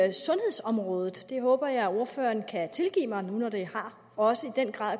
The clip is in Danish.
i sundhedsområdet det håber jeg ordføreren kan tilgive mig nu når det også i den grad